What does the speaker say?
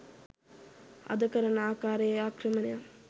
අද කරන ආකාරයේ ආක්‍රමණයක්